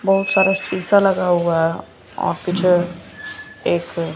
बहोत सारा शीशा लगा हुआ है अ पीछे एक--